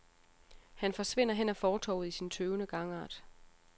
Han forsvinder hen ad fortovet i sin tøvende gangart.